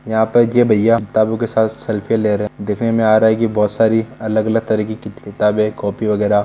यहा पर की भईया किताब के साथ सेल्फी ले रहा है दिखने मै आ रहा हे की बहुत सारा अलग अलग किताबे कॉपी वगेरा--